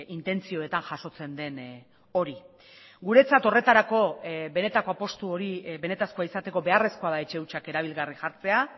intentzioetan jasotzen den hori guretzat horretarako benetako apustu hori benetakoa izateko beharrezkoa da etxe hutsak erabilgarri jartzea